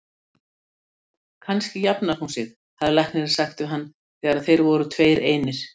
Kannski jafnar hún sig, hafði læknirinn sagt við hann þegar þeir voru tveir einir.